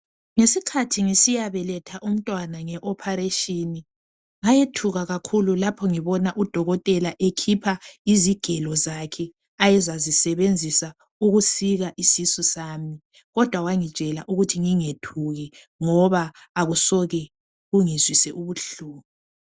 Ngesikhathi ngisiya beletha umntwana nge operation ngayethuka kakhulu lapho ngibona udokotela ekhipha izigelo zakhe ayeza zisebenzisa ukusika isisu sami kodwa wangitshela ukuthi ngingethuki ngoba akusoke kungizwise ubuhlungu.